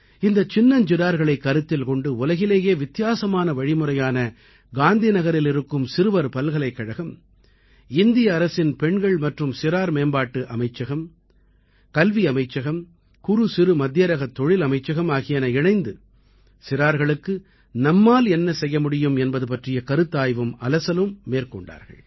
இந்தச் சின்னஞ்சிறார்களைக் கருத்தில் கொண்டு உலகிலேயே வித்தியாசமான வழிமுறையான காந்திநகரில் இருக்கும் சிறுவர் பல்கலைக்கழகம் இந்திய அரசின் பெண்கள் மற்றும் சிறார் மேம்பாட்டு அமைச்சகம் கல்வி அமைச்சகம் குறுசிறுமத்தியரகத் தொழில் அமைச்சகம் ஆகியன இணைந்து சிறார்களுக்கு நம்மால் என்ன செய்ய முடியும் என்பது பற்றிய கருத்தாய்வும் அலசலும் மேற்கொண்டார்கள்